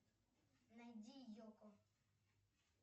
найди йоко